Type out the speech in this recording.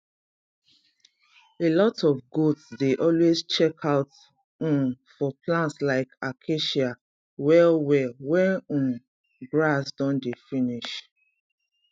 alot of goats dey always check out um for plants like acacia well well wen um grass don dey finish